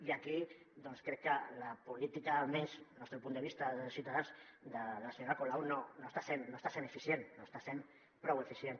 i aquí doncs crec que la política almenys el nostre punt de vista de ciutadans de la senyora colau no està sent eficient no està sent prou eficient